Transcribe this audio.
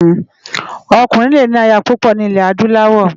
Òkúrin lé ni àyá púpò ni ilè ádúláwò